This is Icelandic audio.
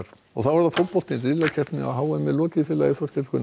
og þá er það fótboltinn riðlakeppninni á h m lokið félagi Þorkell Gunnar